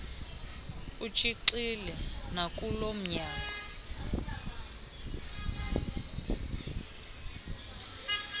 etshixile nakulo mnyango